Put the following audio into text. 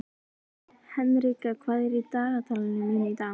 Henrika, hvað er í dagatalinu mínu í dag?